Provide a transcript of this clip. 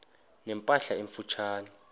ne mpahla emfutshane